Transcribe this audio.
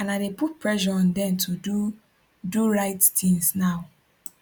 and i dey put pressure on dem to do do di right tins now